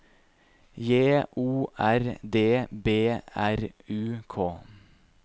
J O R D B R U K